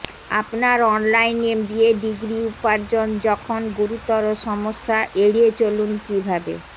আপনার online MBA degree উপার্জন যখন গুরুতর সমস্যা এড়িয়ে চলুন কিভাবে